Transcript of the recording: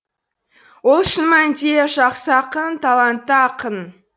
ол шын мәнінде жақсы ақын талантты ақын